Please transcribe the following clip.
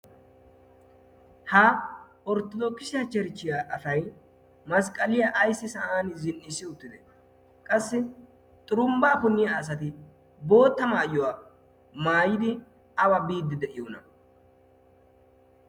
ha orttodokisiya cherichchiya asay masqqaliyaa ayssi sa'an zin"issi uttide qassi xurumbbaa punniya asati bootta maayyuwaa maayidi awa biiddi de'iyoona